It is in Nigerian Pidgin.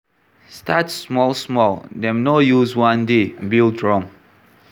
Start small small, dem no use one day build Rome